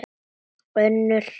Önnur ráð